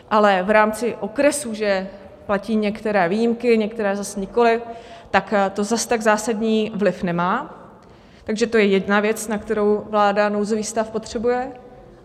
Ale v rámci okresů že platí některé výjimky, některé zas nikoliv, tak to zas tak zásadní vliv nemá, takže to je jedna věc, na kterou vláda nouzový stav potřebuje.